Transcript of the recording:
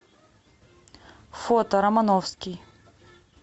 фото романовский